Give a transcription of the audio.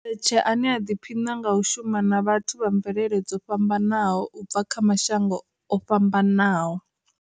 Mdletshe, ane a ḓiphina nga u shuma na vhathu vha mvelele dzo fhambanaho, u bva kha mashango o fhambanaho.